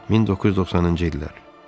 1992-ci illər.